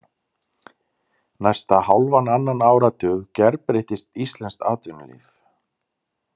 Næsta hálfan annan áratug gerbreyttist íslenskt atvinnulíf.